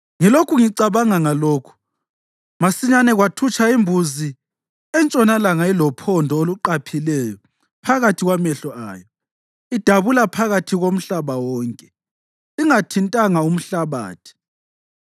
Ngilokhu ngicabanga ngalokhu, masinyane kwathutsha imbuzi entshonalanga ilophondo oluqaphileyo phakathi kwamehlo ayo, idabula phakathi komhlaba wonke ingathintanga umhlabathi.